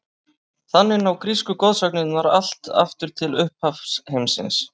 Þannig ná grísku goðsagnirnar allt aftur til upphafs heimsins.